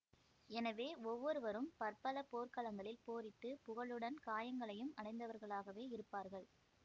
எனவே ஒவ்வொருவரும் பற்பல போர்க்களங்களில் போரிட்டுப் புகழுடன் காயங்களையும் அடைந்தவர்களாகவே இருப்பார்கள்